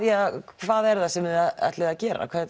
hvað er það sem þið ætlið að gera